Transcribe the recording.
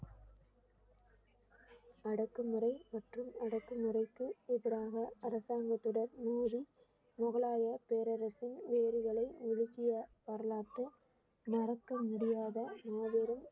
அடக்குமுறை மற்றும் அடக்குமுறைக்கு எதிராக அரசாங்கத்துடன் முகலாயப் பேரரசு வேர்களை உலுக்கிய வரலாற்று மறக்க முடியாத மாபெரும்